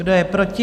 Kdo je proti?